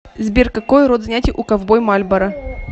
сбер какой род занятий у ковбой мальборо